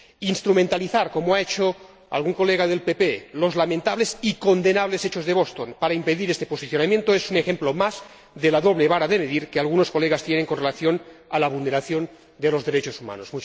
Instrumentalizar ―como ha hecho algún diputado del PPE― los lamentables y condenables hechos de Boston para impedir este posicionamiento es un ejemplo más de la doble vara de medir que algunos diputados tienen con relación a la vulneración de los derechos humanos.